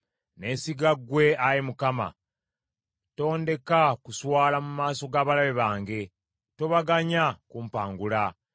Neesiga ggwe, Ayi Mukama , tondeka kuswala mu maaso g’abalabe bange. Tobaganya kumpangula.